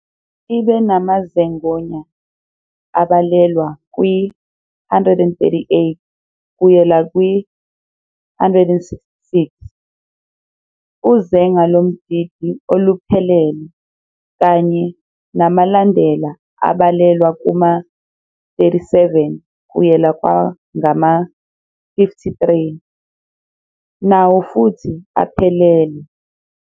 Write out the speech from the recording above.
Ibe namazeng' onya abalelwa kwi-138 kuyela kwi-166, uzenga lomdidi oluphelele, kanye namalandela abalelwa kuma-37 kuyela kwangama-53, nawo futhi aphelele.